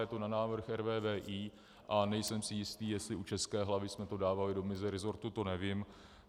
Je to na návrh RVVI a nejsem si jistý, jestli u České hlavy jsme to dávali do meziresortu, to nevím.